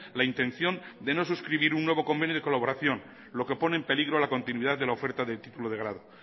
la intención de no suscribir un nuevo convenio de colaboración lo que pone en peligro la continuidad de la oferta del título de grado